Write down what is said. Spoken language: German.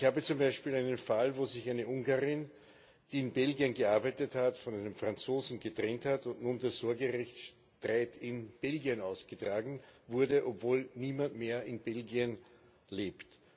Ich habe zum Beispiel einen Fall, wo sich eine Ungarin, die in Belgien gearbeitet hat, von einem Franzosen getrennt hat und der Sorgerechtsstreit nun in Belgien ausgetragen wird, obwohl niemand mehr in Belgien lebt.